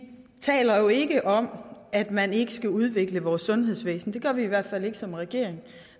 taler jo ikke om at man ikke skal udvikle vores sundhedsvæsen det gør vi i hvert fald ikke som regering